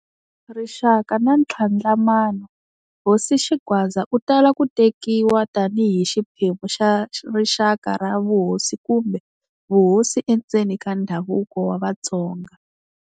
Rixaka na Ntlhandlamano-Hosi Xingwadza u tala ku tekiwa tani hi xiphemu xa rixaka ra vuhosi kumbe vuhosi endzeni ka ndhavuko wa Vatsonga.